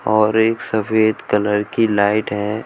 और एक सफेद कलर की लाइट है।